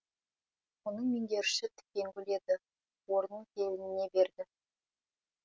оның меңгерушісі тікенгүл еді орнын келініне берді